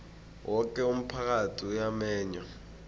woke umphakathi uyamenywa